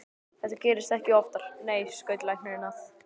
Þetta gerist ekki oftar, nei, skaut læknirinn að.